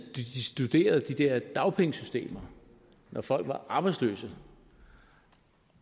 de studeret de der dagpengesystemer når folk var arbejdsløse